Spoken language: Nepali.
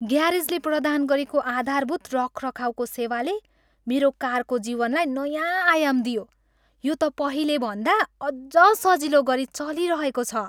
ग्यारेजले प्रदान गरेको आधारभूत रखरखाउको सेवाले मेरो कारको जीवनलाई नयाँ आयाम दियो, यो त पहिलेभन्दा अझ सजिलो गरी चलिरहेको छ।